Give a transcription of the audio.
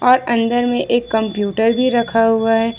और अंदर में एक कम्प्यूटर भी रखा हुआ है।